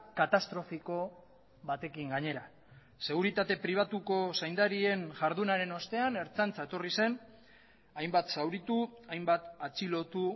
katastrofiko batekin gainera seguritate pribatuko zaindarien jardunaren ostean ertzaintza etorri zen hainbat zauritu hainbat atxilotu